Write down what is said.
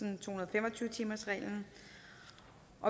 fem og tyve timersreglen